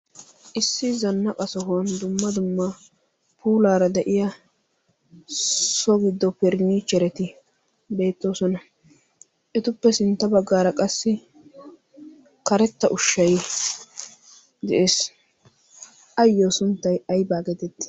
issi zannaqa sohuwan dumma dumma puulaara de7iya so giddo pirnnichereti beettoosona. etuppe sintta baggaara qassi karetta ushshai de7ees. ayyo sunttai aibaa geetetti?